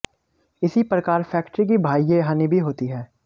इसी प्रकार फैक्टरी की बाह्य हानि भी होती है